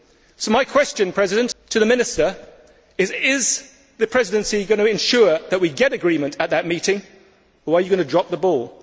So my question to the Minister is Is the Presidency going to ensure that we get agreement at that meeting, or are you going to drop the ball?